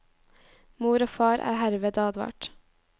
Mor og far er herved advart.